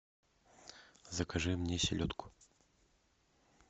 закажи мне селедку